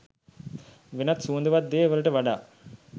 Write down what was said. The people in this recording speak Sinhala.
වෙනත් සුවඳවත් දේ් වලට වඩා